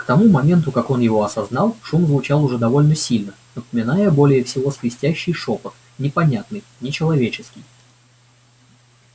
к тому моменту как он его осознал шум звучал уже довольно сильно напоминая более всего свистящий шёпот непонятный нечеловеческий